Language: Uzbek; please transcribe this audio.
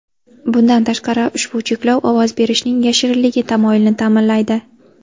Bundan tashqari, ushbu cheklov ovoz berishning yashirinligi tamoyilini ta’minlaydi.